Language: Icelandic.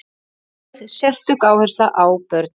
Lögð sérstök áhersla á börnin.